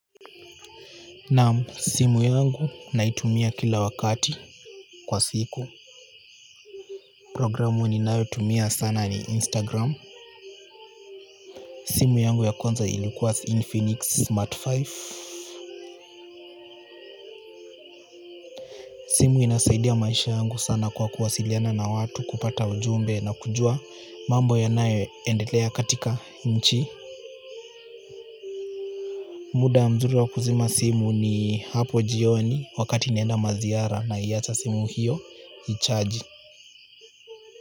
Naam simu yangu naitumia kila wakati kwa siku programu ninayotumia sana ni Instagram. Simu yangu ya kwanza ilikuwa Infinix Smart tano simu inasaidia maisha yangu sana kwa kuwasiliana na watu kupata ujumbe na kujua mambo yanayoendelea katika nchi muda mzuri wa kuzima simu ni hapo jioni wakati naenda maziara naiacha simu hiyo i-charge.